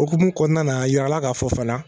O hukumu kɔnɔna na, a jirala k'a fɔ fana